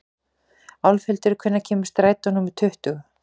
Álfhildur, hvenær kemur strætó númer tuttugu?